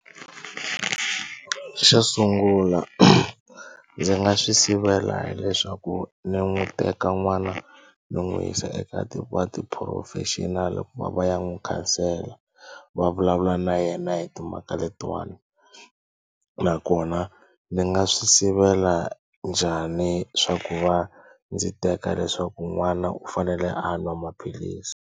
Xo sungula ndzi nga swi sivela hileswaku ni n'wi teka n'wana ni n'wi yisa eka professional ku va va ya n'wi khansela va vulavula na yena hi timhaka letiwani nakona ndzi nga swi sivela njhani swa ku va ndzi teka leswaku n'wana u fanele a nwa maphilisi.